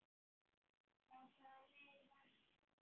Á hvaða leið varst þú?